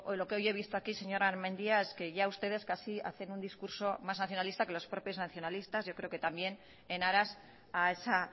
lo que hoy he visto aquí señora mendia es que ya ustedes casi hacen un discurso más nacionalista que los propios nacionalistas yo creo que también en aras a esa